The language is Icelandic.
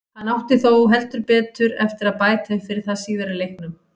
Hann átti þó heldur betur eftir að bæta upp fyrir það síðar í leiknum.